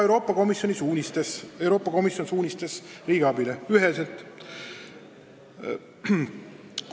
See on üheselt ka Euroopa Komisjoni suunistes riigiabi kohta.